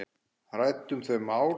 Ræddum þau mál.